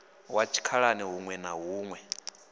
wa tshikhalani huṋwe na huṋwe